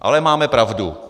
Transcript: Ale máme pravdu.